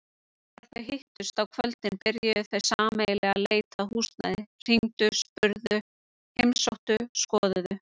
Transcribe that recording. Þegar þau hittust á kvöldin byrjuðu þau sameiginlega leit að húsnæði, hringdu spurðu heimsóttu skoðuðu.